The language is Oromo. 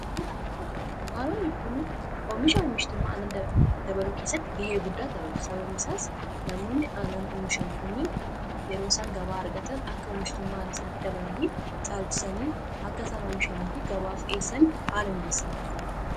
daanota annan gurguran dunkaanoonni kon omisha omishtummaa ana dabaloo keessatti ga'ee guddaa tapatu sababni isaas namoonni anan umishan kunnin yeroo isaan gabaa argatan akka omishtummaa ana isaan dabalanii caalchisanii akka isaan oomishanii fi gabaaf dhi'eessan haala mijessa wanta'eef